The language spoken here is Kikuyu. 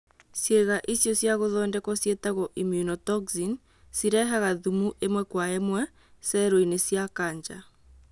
Ciĩga icio cia gũthondekwo ciĩtagwo immunotoxin, cirehaga thumu ĩmwe kwa ĩmwe cero-inĩ cia kanja